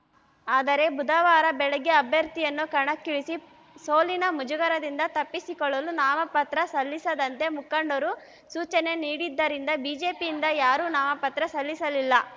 ಆದರೆ ಬುಧವಾರ ಬೆಳಗ್ಗೆ ಅಭ್ಯರ್ಥಿಯನ್ನು ಕಣಕ್ಕಿಳಿಸಿ ಸೋಲಿನ ಮುಜುಗರದಿಂದ ತಪ್ಪಿಸಿಕೊಳ್ಳಲು ನಾಮಪತ್ರ ಸಲ್ಲಿಸದಂತೆ ಮುಖಂಡರು ಸೂಚನೆ ನೀಡಿದ್ದರಿಂದ ಬಿಜೆಪಿಯಿಂದ ಯಾರೂ ನಾಮಪತ್ರ ಸಲ್ಲಿಸಲಿಲ್ಲ